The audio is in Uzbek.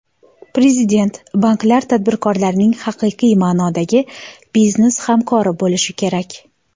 Prezident: Banklar tadbirkorlarning haqiqiy ma’nodagi biznes hamkori bo‘lishi kerak.